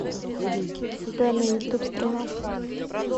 сбер на ютуб стрела